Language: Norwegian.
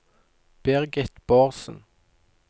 Birgit Bårdsen